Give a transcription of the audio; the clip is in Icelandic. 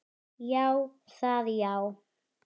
Já, það já.